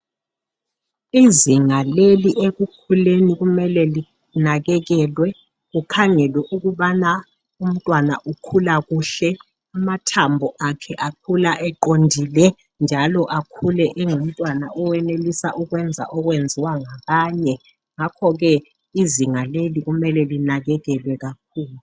Izinga leli ekukhuleni kumele linakekelwe kukhangelwe ukubana umntwana ukhula kuhle amathambo akhe akhula eqondile njalo akhule engumntwana owenelisa ukwenza okwenziwa ngabanye ngakho ke izinga leli kumele linakekelwe kakhulu.